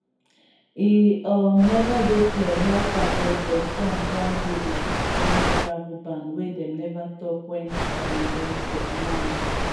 e um neva dey clear how far president trump wan go wit dis planned travel ban wey dem neva tok wen um dem go announce